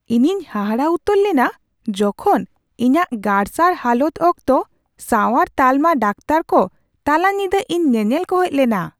ᱤᱧᱤᱧ ᱦᱟᱦᱟᱲᱟᱜ ᱩᱛᱟᱹᱨ ᱞᱮᱱᱟ ᱡᱚᱠᱷᱚᱱ ᱤᱧᱟᱹᱜ ᱜᱟᱨᱥᱟᱲ ᱦᱟᱞᱚᱛ ᱚᱠᱛᱚ ᱥᱟᱣᱟᱨ ᱛᱟᱞᱢᱟ ᱰᱟᱠᱛᱟᱨ ᱠᱚ ᱛᱟᱞᱟ ᱧᱤᱫᱟᱹ ᱤᱧ ᱧᱮᱧᱮᱞ ᱠᱚ ᱦᱮᱡ ᱞᱮᱱᱟ ᱾